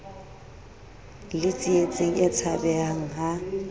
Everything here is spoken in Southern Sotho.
le tsietsing e tshabehang ha